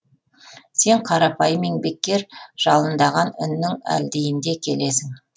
сен қарапайым еңбеккер жалындаған үннің әлдиінде келесің